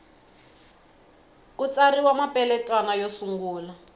ku tsariwa mapeletwana yo sungula